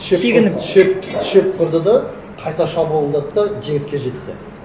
шек қылып шек шек құрды да қайта шабуылдады да жеңіске жетті